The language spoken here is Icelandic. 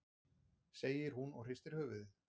segir hún og hristir höfuðið.